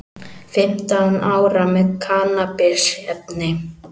Fimmtán ára með kannabisefni